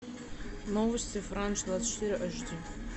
новости франс двадцать четыре эш ди